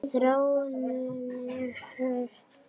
Þróunin hefur snúist við.